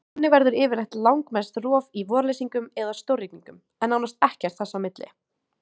Þannig verður yfirleitt langmest rof í vorleysingum eða stórrigningum, en nánast ekkert þess á milli.